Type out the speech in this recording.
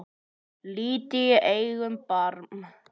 Lítið í eigin barm.